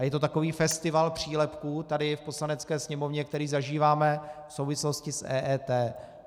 A je to takový festival přílepků tady v Poslanecké sněmovně, který zažíváme v souvislosti s EET.